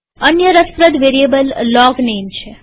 અન્ય રસપ્રદ variable logname છે